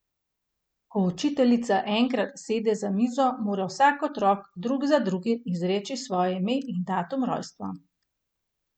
Ko učiteljica enkrat sede za mizo, mora vsak otrok, drug za drugim, izreči svoje ime in datum rojstva.